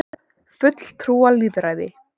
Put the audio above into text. fulltrúalýðræði